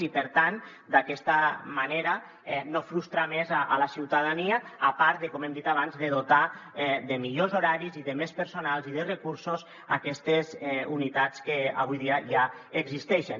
i per tant d’aquesta manera no frustrar més la ciutadania a part de com hem dit abans dotar de millors horaris i de més personal i de recursos aquestes unitats que avui dia ja existeixen